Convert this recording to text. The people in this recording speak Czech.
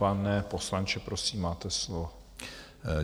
Pane poslanče, prosím, máte slovo.